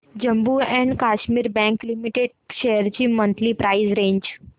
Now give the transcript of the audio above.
Jammu and Kashmir bank limited shares ची monthly price range